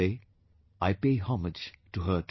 Today, I pay homage to her too